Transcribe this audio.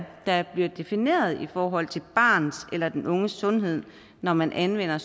der bliver defineret i forhold til barnets eller den unges sundhed når man anvender